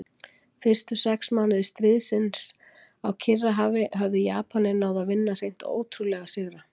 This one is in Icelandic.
Fyrstu sex mánuði stríðsins á Kyrrahafi höfðu Japanir náð að vinna hreint ótrúlega sigra.